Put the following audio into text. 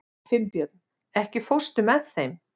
Finnbjörn, ekki fórstu með þeim?